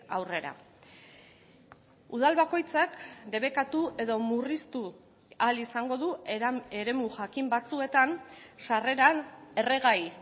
aurrera udal bakoitzak debekatu edo murriztu ahal izango du eremu jakin batzuetan sarreran erregai